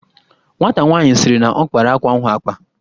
Nwata nwaanyị sịrị na ọ kpara akwa ahụ akpa